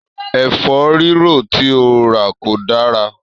Ẹ̀fórírò tí ó rà kò dára